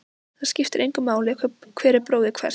Það skiptir engu máli hver er bróðir hvers.